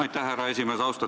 Aitäh, härra esimees!